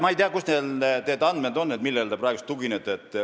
Ma ei tea, kust teil need andmed pärit on, millele te praegu tuginete.